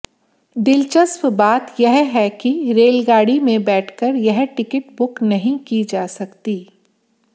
दिलचस्प बात यह है कि रेलगाड़ी में बैठकर यह टिकट बुक नहीं की जा सकती